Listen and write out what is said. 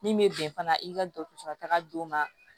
Min bɛ bɛn fana i ka dɔgɔtɔrɔso la taga don ma